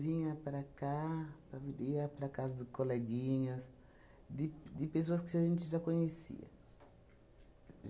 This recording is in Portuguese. Vinha para cá, para mi, ia para casa do coleguinhas, de de pessoas que a gente já conhecia.